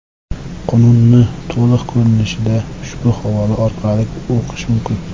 Qonunni to‘liq ko‘rinishda ushbu havola orqali o‘qish mumkin.